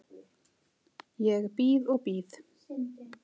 Ég bíð og bíð.